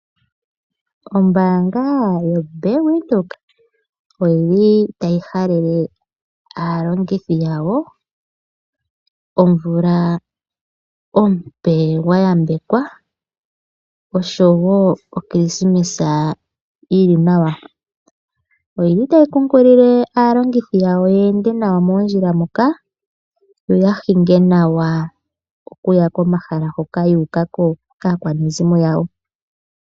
Ombaanga yoBank Windhoek otayi halele aalongithi yawo omumvo omupe gwa yambekwa noshowo Okilisimesa yi li nawa. Otayi kunkilile aalongithi yawo ye ende nawa moondjila moka, yo ya hinge naawa okuya komahala hoka yu uka kaakwanezimo yawo.